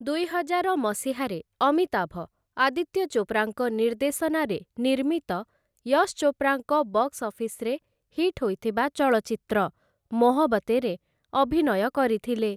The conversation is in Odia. ଦୁଇହଜାର ମସିହାରେ ଅମିତାଭ ଆଦିତ୍ୟ ଚୋପ୍ରାଙ୍କ ନିର୍ଦ୍ଦେଶନାରେ ନିର୍ମିତ ୟଶ୍‌ ଚୋପ୍ରାଙ୍କ ବକ୍ସ୍‌ ଅଫିସ୍‌ରେ ହିଟ୍ ହୋଇଥିବା ଚଳଚ୍ଚିତ୍ର 'ମୋହବତେଁ'ରେ ଅଭିନୟ କରିଥିଲେ ।